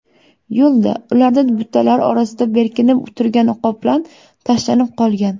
Yo‘lda ularda butalar orasida berkinib turgan qoplan tashlanib qolgan.